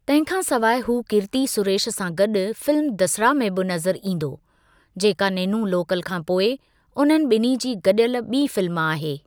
तंहिं खां सवाइ हू कीर्ति सुरेश सां गॾु फिल्म दसरा में बि नज़रु ईंदो, जेका नेनू लोकल खां पोइ उन्हनि ॿिन्ही जी गॾियल ॿी फिल्म आहे।